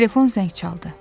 Telefon zəng çaldı.